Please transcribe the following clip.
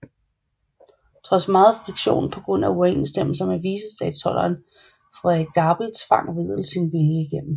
Trods megen friktion på grund af uoverensstemmelser med vicestatholderen Frederik Gabel tvang Wedel sin vilje igennem